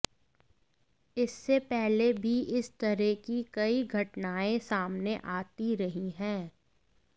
इससे पहले भी इस तरह की कई घटनाएं सामने आती रही हैं